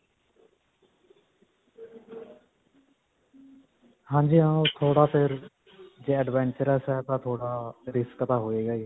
ਹਾਂਜੀ ਹਾਂ. ਉਹ ਥੋੜ੍ਹਾ ਫਿਰ ਜੇ adventurous ਹੈ ਤਾਂ ਥੋੜਾ risk ਤਾਂ ਹੋਏਗਾ ਹੀ.